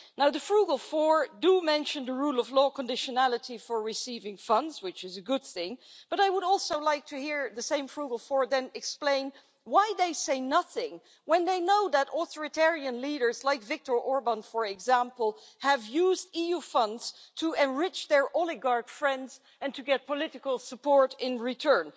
The frugal four do mention the rule of law conditionality for receiving funds, which is a good thing, but I would also like to hear the same frugal four then explain why they say nothing when they know that authoritarian leaders, like Viktor Orbán for example, have used EU funds to enrich their oligarch friends and to get political support in return.